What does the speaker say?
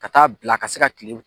Ka t'a bila a ka se ka kile